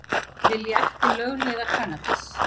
Vilja ekki lögleiða kannabis